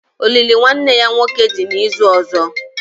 Olili nwanne ya nwoke dị n'izu ọzọ